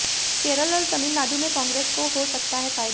केरल और तमिलनाडु में कांग्रेस को हो सकता है फायदा